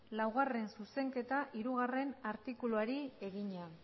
laugarrena zuzenketa hirugarrena artikuluari egina